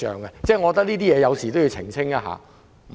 我覺得這方面需要澄清。